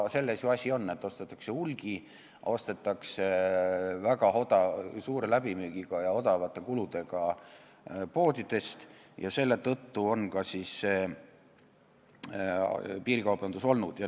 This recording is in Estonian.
Selles ju asi ongi, et ostetakse hulgi, ostetakse väga suure läbimüügi ja väikeste kuludega poodidest ja ka selle tõttu on see piirikaubandus vohanud.